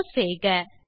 close செய்க